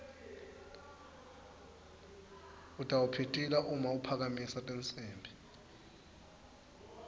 utawupitila uma aphakamisa tinsimbi